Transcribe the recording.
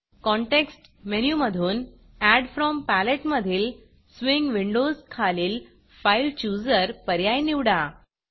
context मेनूमधून add from Paletteएड from palette मधील स्विंग Windowsस्विंग विंडोस खालील फाइल Chooserफाइल चुजर पर्याय निवडा